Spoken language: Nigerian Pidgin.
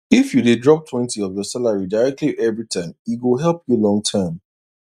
if you dey droptwentyof your salary directly every time e go help you long term